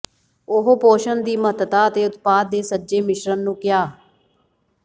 ਉਹ ਪੋਸ਼ਣ ਦੀ ਮਹੱਤਤਾ ਅਤੇ ਉਤਪਾਦ ਦੇ ਸੱਜੇ ਮਿਸ਼ਰਣ ਨੂੰ ਕਿਹਾ